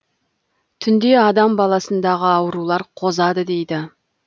түнде адам баласындағы аурулар қозады дейді